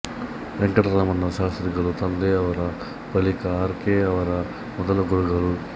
ವೆಂಕಟರಾಮ ಶಾಸ್ತ್ರಿಗಳು ತಂದೆಯವರ ಬಳಿಕ ಆರ್ ಕೆ ಯವರ ಮೊದಲ ಗುರುಗಳು